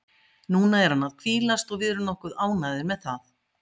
Núna er hann að hvílast og við erum nokkuð ánægðir með það.